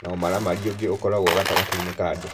na ũmaramari ũngĩ ũkoragwo gatagatĩ-inĩ ka andũ.